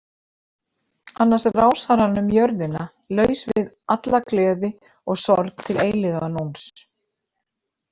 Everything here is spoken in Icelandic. Annars rásar hann um jörðina laus við alla gleði og sorg til eilífðarnóns.